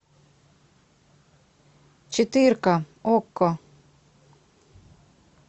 четырка окко